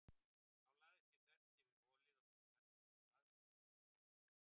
Þá lagðist ég þvert yfir holið á milli eldhúss og baðs og þóttist sofa.